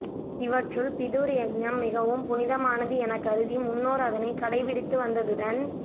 இவற்றுள் பிதுர் யக்ஞம் மிகவும் புனிதமானது எனக் கருதி முன்னோர் அதனைக் கடைபிடித்து வந்ததுடன்